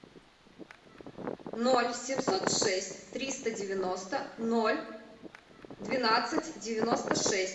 ноль семьсот шесть триста девяносто ноль двенадцать девяносто шесть